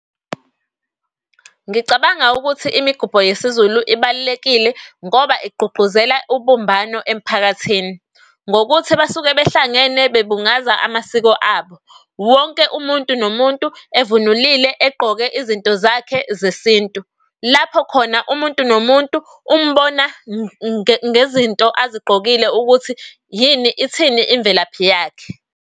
Ngicabanga ukuthi imigubho yesiZulu ibalulekile ngoba igqugquzela ubumbano emphakathini. Ngokuthi basuke behlangene bebungaza amasiko abo. Wonke umuntu nomuntu evunulile egqoke izinto zakhe zesintu lapho khona umuntu nomuntu umbona ngezinto azigqokile ukuthi yini ithini imvelaphi yakhe.